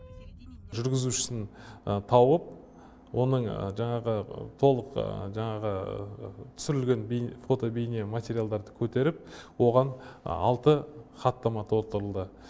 жүргізушісін тауып оның жаңағы толық жаңағы түсірілген фото бейне материалдарды көтеріп оған алты хаттама толтырылды